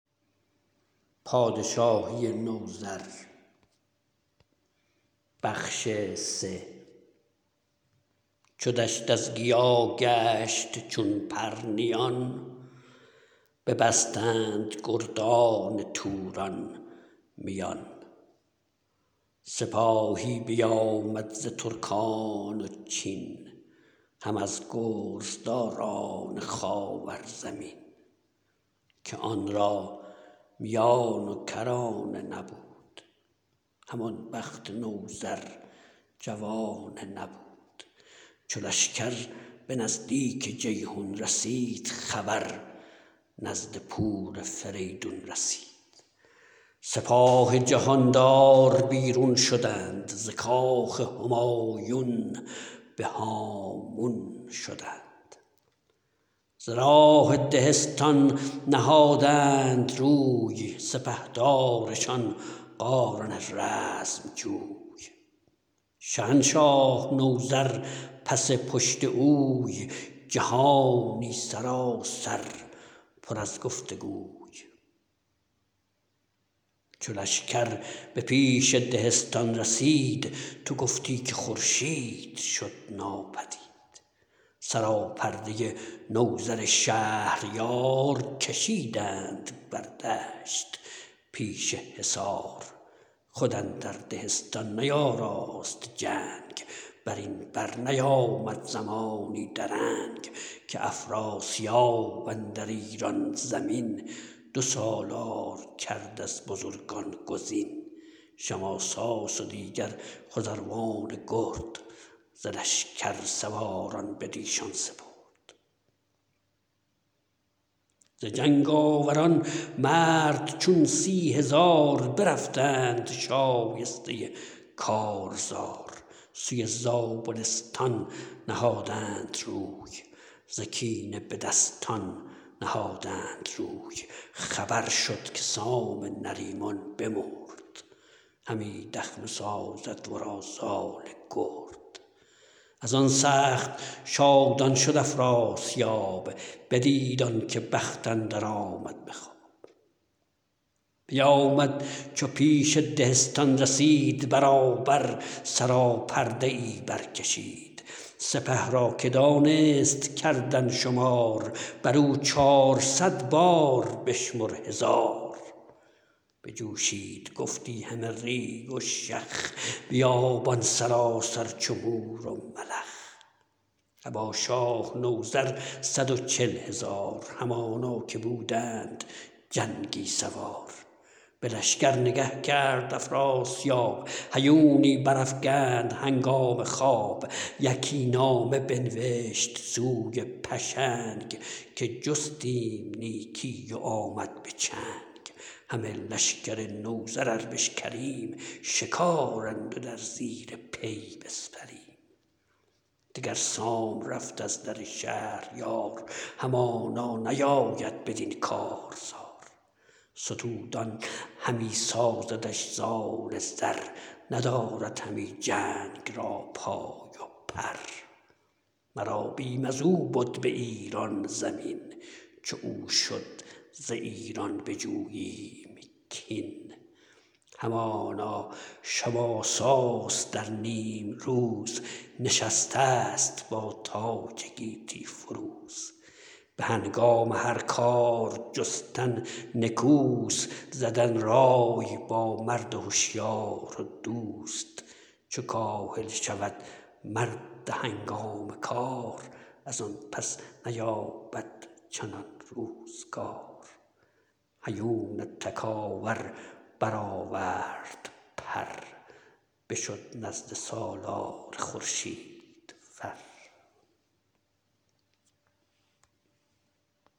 چو دشت از گیا گشت چون پرنیان ببستند گردان توران میان سپاهی بیامد ز ترکان و چین هم از گرزداران خاور زمین که آن را میان و کرانه نبود همان بخت نوذر جوانه نبود چو لشکر به نزدیک جیحون رسید خبر نزد پور فریدون رسید سپاه جهاندار بیرون شدند ز کاخ همایون به هامون شدند به راه دهستان نهادند روی سپهدارشان قارن رزم جوی شهنشاه نوذر پس پشت اوی جهانی سراسر پر از گفت و گوی چو لشکر به پیش دهستان رسید تو گفتی که خورشید شد ناپدید سراپرده نوذر شهریار کشیدند بر دشت پیش حصار خود اندر دهستان نیاراست جنگ برین بر نیامد زمانی درنگ که افراسیاب اندر ایران زمین دو سالار کرد از بزرگان گزین شماساس و دیگر خزروان گرد ز لشکر سواران بدیشان سپرد ز جنگ آوران مرد چون سی هزار برفتند شایسته کارزار سوی زابلستان نهادند روی ز کینه به دستان نهادند روی خبر شد که سام نریمان بمرد همی دخمه سازد ورا زال گرد ازان سخت شادان شد افراسیاب بدید آنکه بخت اندر آمد به خواب بیامد چو پیش دهستان رسید برابر سراپرده ای برکشید سپه را که دانست کردن شمار برو چارصد بار بشمر هزار بجوشید گفتی همه ریگ و شخ بیابان سراسر چو مور و ملخ ابا شاه نوذر صد و چل هزار همانا که بودند جنگی سوار به لشکر نگه کرد افراسیاب هیونی برافگند هنگام خواب یکی نامه بنوشت سوی پشنگ که جستیم نیکی و آمد به چنگ همه لشکر نوذر ار بشکریم شکارند و در زیر پی بسپریم دگر سام رفت از در شهریار همانا نیاید بدین کارزار ستودان همی سازدش زال زر ندارد همی جنگ را پای و پر مرا بیم ازو بد به ایران زمین چو او شد ز ایران بجوییم کین همانا شماساس در نیمروز نشستست با تاج گیتی فروز به هنگام هر کار جستن نکوست زدن رای با مرد هشیار و دوست چو کاهل شود مرد هنگام کار ازان پس نیابد چنان روزگار هیون تکاور برآورد پر بشد نزد سالار خورشید فر